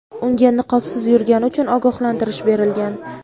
unga niqobsiz yurgani uchun ogohlantirish berilgan.